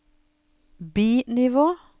bi-nivå